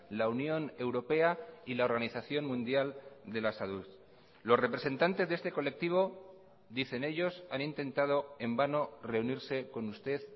la unión europea y la organización mundial de la salud los representantes de este colectivo dicen ellos han intentado en vano reunirse con usted